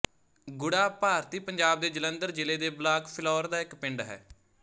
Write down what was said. ਗੁੜ੍ਹਾ ਭਾਰਤੀ ਪੰਜਾਬ ਦੇ ਜਲੰਧਰ ਜ਼ਿਲ੍ਹੇ ਦੇ ਬਲਾਕ ਫਿਲੌਰ ਦਾ ਇੱਕ ਪਿੰਡ ਹੈ